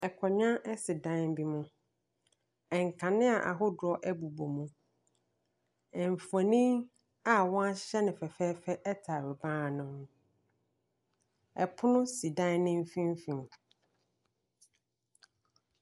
Akonnwa si dan bi mu. Nkanea ahodoɔ bobɔ mu. Mfonin a wɔahyɛ no fɛfɛɛfɛ tare ban no ho. Ɛpono si dan no mfimfini.